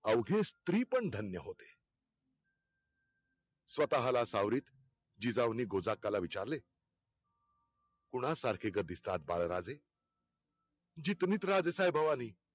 अवघे स्त्री पण धन्य होते स्वतःला सावरीत जिजाऊंनी गोझाक्काला विचारले कोणा सारखे ग दिसतात बाळराजे जी